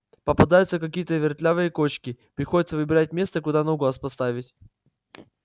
попадаются какие-то вертлявые кочки приходится выбирать место куда ногу поставить